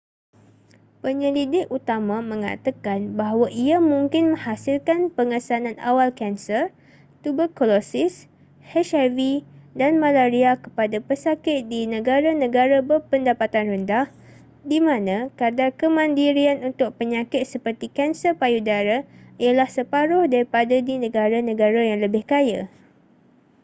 penyelidik utama mengatakan bahawa ia mungkin menghasilkan pengesanan awal kanser tuberkulosis hiv dan malaria kepada pesakit di negara-negara berpendapatan rendah di mana kadar kemandirian untuk penyakit seperti kanser payu dara ialah separuh daripada di negara-negara yang lebih kaya